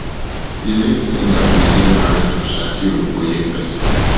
di late singer bin dey married to shakiru oyefeso